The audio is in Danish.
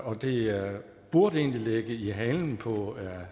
og det burde egentlig ligge i halen på